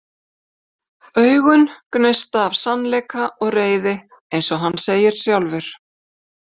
Augun gneista af sannleika og reiði einsog hann segir sjálfur.